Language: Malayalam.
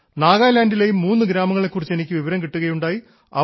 നാഗാലാൻഡിലെയും മൂന്ന് ഗ്രാമങ്ങളെ കുറിച്ച് എനിക്ക് വിവരം കിട്ടുകയുണ്ടായി